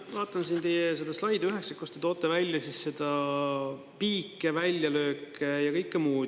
Ma vaatan siin teie seda slaid üheksat, kust te toote välja piike, väljalööke ja kõike muud.